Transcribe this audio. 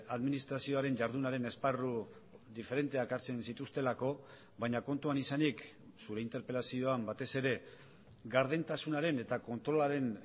administrazioaren jardunaren esparru diferenteak hartzen zituztelako baina kontuan izanik zure interpelazioan batez ere gardentasunaren eta kontrolaren